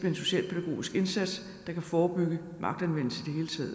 en socialpædagogisk indsats der kan forebygge magtanvendelse